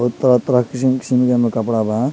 अउर तरह-तरह के किसिम-किसिम के कपड़ा बा।